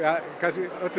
öllu